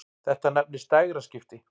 Þetta nefnist dægraskipti.